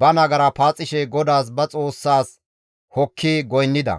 ba nagara paaxishe GODAAS ba Xoossaas hokki goynnida.